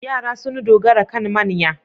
Yara sun dogara kan manya.